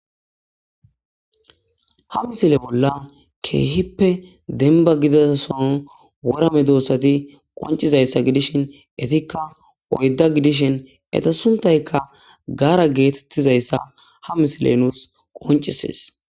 Ha misile bolla keehippe denba gida son worame doossati qoncizayssa gidishin etikka oydda gidishin eta suntayka gaara geetettizayssa ha misile nuus qoncisees.